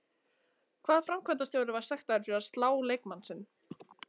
Hvaða framkvæmdarstjóri var sektaður fyrir að slá leikmann sinn?